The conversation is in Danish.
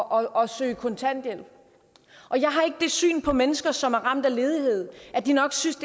og søge kontanthjælp jeg har ikke det syn på mennesker som er ramt af ledighed at de nok synes